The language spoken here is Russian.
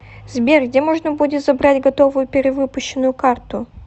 сбер где можно будет забрать готовую перевыпущенную карту